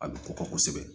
A bɛ kɔkɔ kosɛbɛ